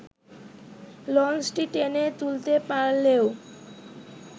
লঞ্চটি টেনে তুলতে পারলেও